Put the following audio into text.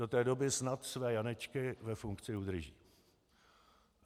Do té doby snad své Janečky ve funkci udrží.